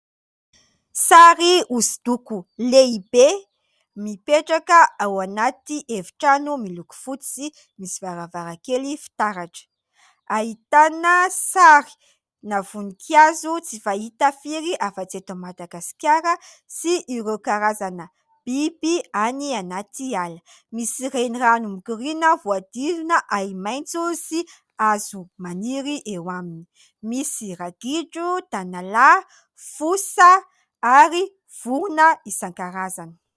Sary hosodoko lehibe mipetraka ao anaty efitrano miloko fotsy misy varavarankely fitaratra. Ahitana sarina voninkazo tsy fahita firy afa-tsy eto Madagasikara sy ireo karazana biby any anaty ala. Misy renirano mikoriana voahodidina ahi-maitso sy hazo maniry eo aminy. Misy ragidro, tanalahy, fosa ary vorona isan-karazany.